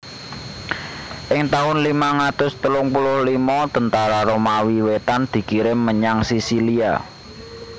Ing tahun limang atus telung puluh limo tentara Romawi Wétan dikirim menyang Sisilia